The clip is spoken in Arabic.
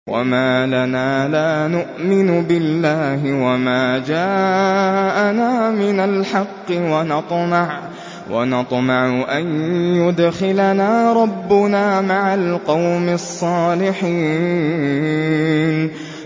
وَمَا لَنَا لَا نُؤْمِنُ بِاللَّهِ وَمَا جَاءَنَا مِنَ الْحَقِّ وَنَطْمَعُ أَن يُدْخِلَنَا رَبُّنَا مَعَ الْقَوْمِ الصَّالِحِينَ